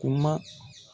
Kuma